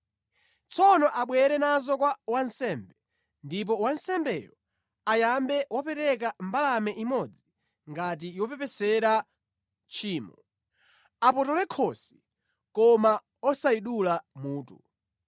Tsono abwere nazo kwa wansembe, ndipo wansembeyo ayambe wapereka mbalame imodzi ngati yopepesera tchimo. Apotole khosi koma osayidula mutu,